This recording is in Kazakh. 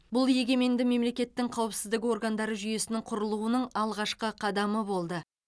бұл егеменді мемлекеттің қауіпсіздік органдары жүйесінің құрылуының алғашқы қадамы болды